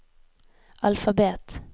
alfabet